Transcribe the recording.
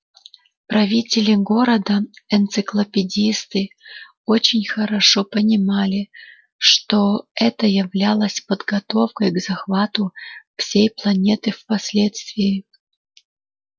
правители города энциклопедисты очень хорошо понимали что это являлось подготовкой к захвату всей планеты впоследствии